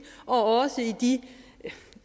og de